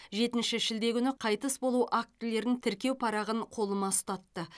жетінші шілде күні қайтыс болу актілерін тіркеу парағын қолыма ұстатты